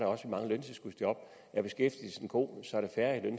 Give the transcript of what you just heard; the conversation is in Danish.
også mange løntilskudsjob er beskæftigelsen god er der færre i